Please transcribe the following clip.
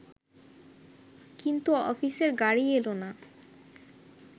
কিন্তু অফিসের গাড়ি এল না